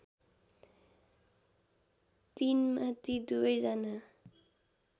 ३ मा ती दुवैजना